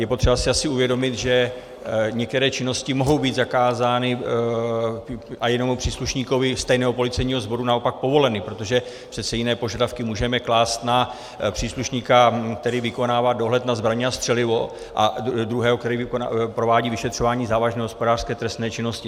Je potřeba si asi uvědomit, že některé činnosti mohou být zakázány a jednomu příslušníkovi stejného policejního sboru naopak povoleny, protože přece jiné požadavky můžeme klást na příslušníka, který vykonává dohled na zbraně a střelivo, a druhého, který provádí vyšetřování závažné hospodářské trestné činnosti.